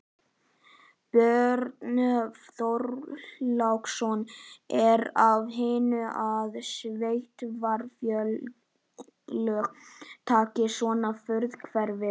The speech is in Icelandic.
Björn Þorláksson: Er af hinu að sveitarfélög taki svona frumkvæði?